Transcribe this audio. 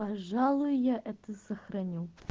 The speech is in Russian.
пожалуй я это сохраню